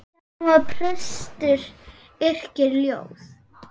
Hjálmar prestur yrkir ljóð.